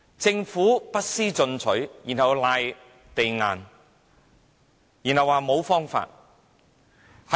政府不思進取，然後推諉說沒有方法。